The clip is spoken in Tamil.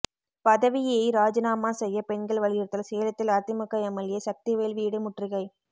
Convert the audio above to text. பதவியை ராஜினாமா செய்ய பெண்கள் வலியுறுத்தல் சேலத்தில் அதிமுக எம்எல்ஏ சக்திவேல் வீடு முற்றுகை